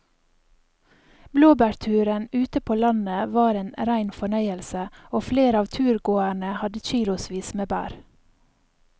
Blåbærturen ute på landet var en rein fornøyelse og flere av turgåerene hadde kilosvis med bær.